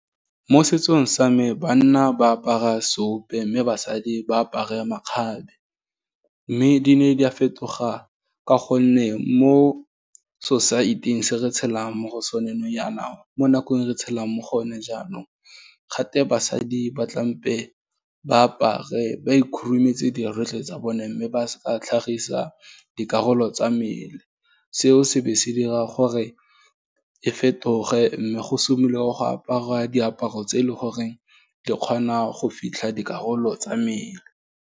Mo setsong sa me, banna ba apara seope, mme basadi ba apare makgabe, mme di ne di a fetoga ka gonne mo society-eng, se re tshelang mo go sone nou yana, mo nakong re tshelang mo go yone jaanong, ga twe basadi ba tlampe ba apare ba ikhurumetse dirwe tsotlhe tsa bone, mme ba sa tlhagisa dikarolo tsa mmele, seo se ba se dira gore, e fetoge mme go simolola go aparwa diaparo tse e leng goreng di kgona go fitlha dikarolo tsa mmele.